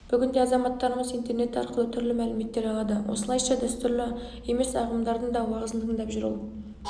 бүгінде азаматтарымыз интернет арқылы түрлі мәліметтер алады осылайша дәстүрлі емес ағымдардың да уағызын тыңдап жүр ол